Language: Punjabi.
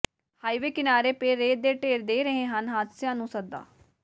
ਹਾਈਵੇ ਕਿਨਾਰੇ ਪਏ ਰੇਤ ਦੇ ਢੇਰ ਦੇ ਰਹੇ ਹਨ ਹਾਦਸਿਆਂ ਨੂੰ ਸੱਦਾ